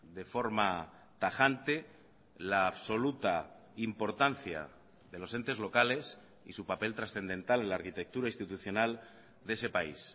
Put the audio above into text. de forma tajante la absoluta importancia de los entes locales y su papel trascendental en la arquitectura institucional de ese país